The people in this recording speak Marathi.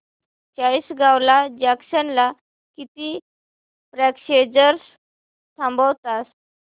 चाळीसगाव जंक्शन ला किती पॅसेंजर्स थांबतात